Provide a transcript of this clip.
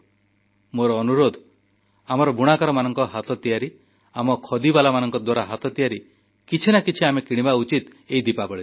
ମୋର ଅନୁରୋଧ ଆମର ବୁଣାକାରଙ୍କ ହାତ ତିଆରି ଆମ ଖଦିବାଲାଙ୍କ ଦ୍ୱାରା ହାତ ତିଆରି କିଛି ନା କିଛି ଆମେ କିଣିବା ଉଚିତ ଏଇ ଦୀପାବଳିରେ